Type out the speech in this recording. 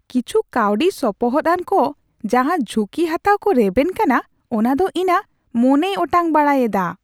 ᱠᱤᱪᱷᱩ ᱠᱟᱹᱣᱰᱤ ᱥᱚᱯᱚᱦᱚᱫᱼᱟᱱ ᱠᱚ ᱡᱟᱦᱟᱸ ᱡᱷᱩᱠᱤ ᱦᱟᱛᱟᱣ ᱠᱚ ᱨᱮᱵᱮᱱ ᱠᱟᱱᱟ ᱚᱱᱟᱫᱚ ᱤᱧᱟᱹᱜ ᱢᱚᱱᱮᱭ ᱚᱴᱟᱝ ᱵᱟᱲᱟᱭ ᱮᱫᱟ ᱾